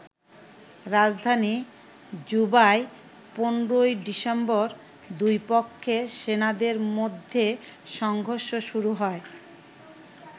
রাজধানী জুবায় ১৫ ডিসেম্বর দুই পক্ষের সেনাদের মধ্যে সংঘর্ষ শুরু হয়।